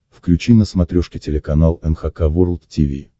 включи на смотрешке телеканал эн эйч кей волд ти ви